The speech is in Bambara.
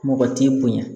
Mɔgɔ t'i bonya